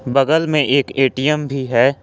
बगल में एक ए_टी_एम भी है।